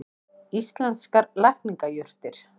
Íslenskar lækningajurtir.